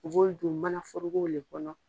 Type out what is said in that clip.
U' b'olu don mana forokow de kɔnɔ.